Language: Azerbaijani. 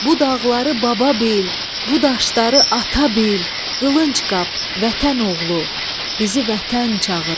Bu dağları baba bil, bu daşları ata bil, Qılıncqap vətən oğlu, bizi vətən çağırır.